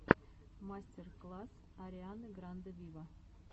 мастер класс арианы гранде виво